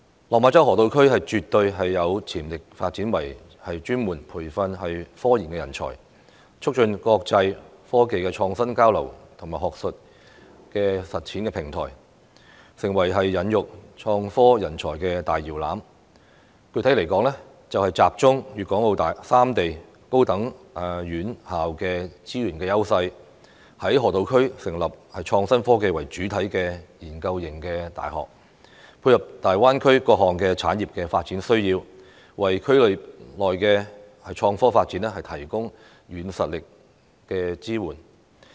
落馬洲河套區絕對有潛力發展為專門培訓科研人才，促進國際科技的創新交流和學術實踐的平台，成為孕育創科人才的大搖籃，具體來說，集中粵港澳三地高等院校的資源優勢，在河套區成立創新科技為主體的研究型大學，配合大灣區各項產業的發展需要，為區內的創科發展提供軟實力的支援。